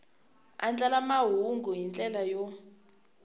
andlala mahungu hi ndlela yo